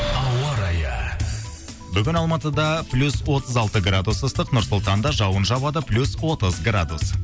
ауа райы бүгін алматыда плюс отыз алты градус ыстық нұр сұлтанда жауын жауады плюс отыз градус